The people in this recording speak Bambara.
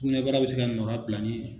sukunɛbara bi se ka nɔra bila ni.